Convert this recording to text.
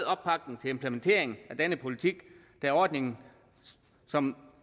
opbakning til implementeringen af denne politik da ordningen som